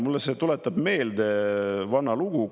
Mulle see tuletab meelde vana lugu.